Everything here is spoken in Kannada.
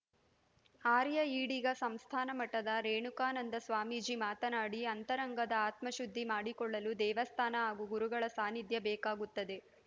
ಆರ್ಯ ಈಡಿಗ ಸಂಸ್ಥಾನ ಮಠದ ರೇಣುಕಾನಂದ ಸ್ವಾಮೀಜಿ ಮಾತನಾಡಿ ಅಂತರಂಗದ ಆತ್ಮ ಶುದ್ಧಿ ಮಾಡಿಕೊಳ್ಳಲು ದೇವಾಸ್ಥಾನ ಹಾಗೂ ಗುರುಗಳ ಸಾನ್ನಿಧ್ಯ ಬೇಕಾಗುತ್ತದೆ